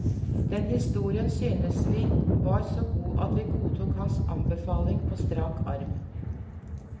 Den historien syntes vi var så god at vi godtok hans anbefaling på strak arm.